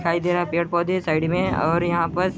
--दिखाई दे रहा है पेड़ पौधे साइड में है और यहाँ पस --